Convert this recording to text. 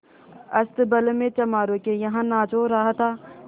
अस्तबल में चमारों के यहाँ नाच हो रहा था